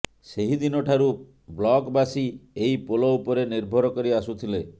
ସେହିଦିନ ଠାରୁ ବ୍ଲକବାସୀ ଏହି ପୋଲ ଉପରେ ନିର୍ଭର କରି ଆସୁଥିଲେ